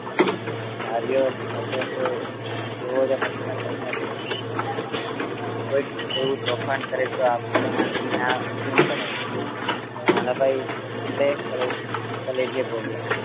ધાર્યું હતું કે તેઓએ પ્રશ્ન તમને પૂછશે કોઈ એવું તોફાન કરે તો આપણાથી ન કેમ પડાય નાનાભાઈ કલે કલેજે બોલ્યા